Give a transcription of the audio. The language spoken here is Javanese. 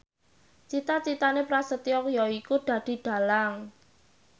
cita citane Prasetyo yaiku dadi dhalang